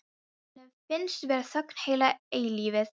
Henni finnst vera þögn heila eilífð.